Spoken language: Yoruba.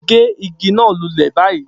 Gé igi náà lulẹ̀ báyìí